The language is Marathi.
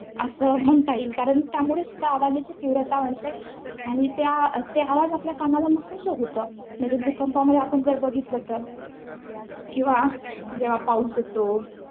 असं म्हणता येईल. कारण त्यामुळे सुद्धा आवाजाची तीव्रता वाढते. आणि त्या~ ते आवाज आपल्या कानाला नकोसं होतं. म्हणजे, भूकंपामध्ये आपण जर बघितलं, तर किंवा जेव्हा पाऊस येतो.